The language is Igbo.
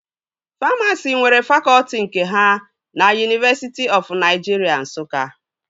Famasi nwere fakọtị nke ha na Yunivesiti ọf Naịjiria Nsụka